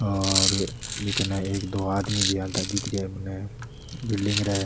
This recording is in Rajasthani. ये कने एक दो आदमी भी आता दिख रेहा है मने बिलडिंग --